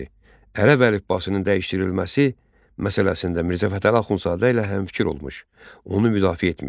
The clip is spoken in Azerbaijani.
Ərəb əlifbasının dəyişdirilməsi məsələsində Mirzə Fətəli Axundzadə ilə həmfikir olmuş, onu müdafiə etmişdi.